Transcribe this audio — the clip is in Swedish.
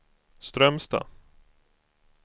Strömstad